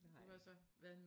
Det har jeg ikke